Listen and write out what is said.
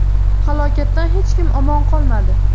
Halokatdan hech kim omon qolmadi.